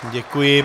Děkuji.